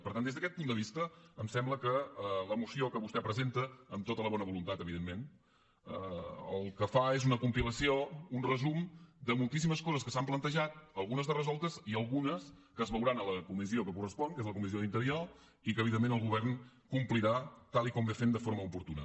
per tant des d’aquest punt de vista em sembla que la moció que vostè presenta amb tota la bona voluntat evidentment el que fa és una compilació un resum de moltíssimes coses que s’han plantejat algunes de resoltes i algunes que es veuran a la comissió que correspon que és la comissió d’interior i que evidentment el govern complirà tal com fa de forma oportuna